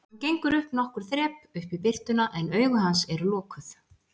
Hann gengur upp nokkur þrep, upp í birtuna, en augu hans eru lokuð.